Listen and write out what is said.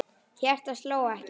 Hjartað sló ekki.